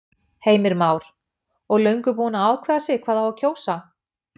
Heimir Már: Og löngu búin að ákveða sig hvað á að kjósa?